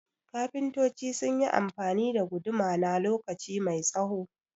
kafintoci sunyi amfani da guduma na lokaci mai tsaho